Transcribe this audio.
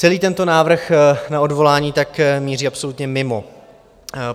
Celý tento návrh na odvolání tak míří absolutně mimo.